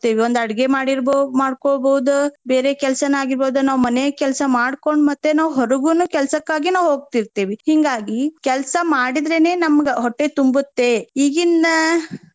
ಒಂದ್ ಅಡ್ಗೆ ಮಾಡಿರ್ಬಹು~ ಮಾಡ್ಕೊಳಬಹುದ ಬೇರೆ ಕೆಲ್ಸಾನ ಆಗಿರ್ಬಹುದ ನಾವ್ ಮನೆ ಕೆಲ್ಸಾ ಮಾಡ್ಕೊಂಡ ಮತ್ತೆ ನಾವ್ ಹೊರಗುನು ಕೆಲ್ಸಕ್ಕಾಗಿ ನಾವ್ ಹೋಗ್ತಿರ್ತೆವಿ. ಹಿಂಗಾಗಿ ಕೆಲ್ಸಾ ಮಾಡಿದ್ರೇನೆ ನಮ್ಗ ಹೊಟ್ಟೆ ತುಂಬುತ್ತೆ ಈಗಿನ್.